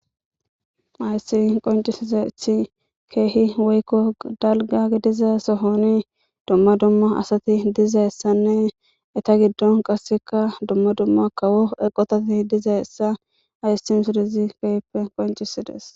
Hayssi qoncisisa ethi keehi woykko galga gidiza sohoni dumma dumma asati dizayssanne eta giddon qasseka dumma dumma kawo eqotati diza essa aystimsodizi keehippe qoncisides.